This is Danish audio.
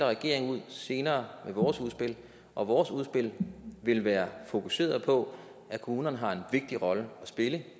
regeringen senere med vores udspil og vores udspil vil være fokuseret på at kommunerne har en vigtig rolle at spille i